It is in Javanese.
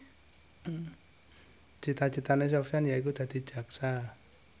cita citane Sofyan yaiku dadi jaksa